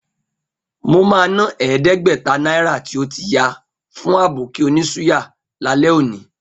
Mo máa ná ẹ̀ẹ́dẹ́gbẹ̀ta náírà tó ti ya fún Àbókí onísúyà lálẹ́ òní.